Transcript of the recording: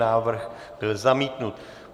Návrh byl zamítnut.